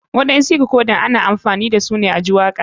Waɗansu dikodan ana amfani dashi a ji waka.